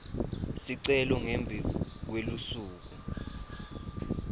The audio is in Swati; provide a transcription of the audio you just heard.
sicelo ngembi kwelusuku